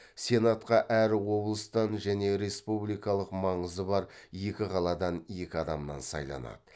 сенатқа әр облыстан және республикалық маңызы бар екі қаладан екі адамнан сайланады